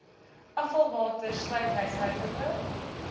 afvalwater sluit huishoudelike